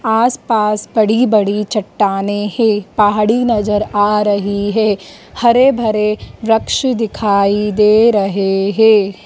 आस पास बड़ी बड़ी चट्टाने है पहाड़ी नजर आ रही है हरे भरे वृक्ष दिखाई दे रहे हैं।